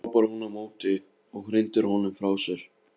hrópar hún á móti og hrindir honum frá sér.